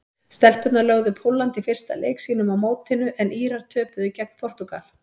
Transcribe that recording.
Stelpurnar lögðu Pólland í fyrsta leik sínum á mótinu en Írar töpuðu gegn Portúgal.